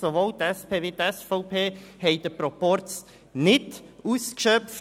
sowohl die SP als auch die SVP haben den Proporz ausgeschöpft.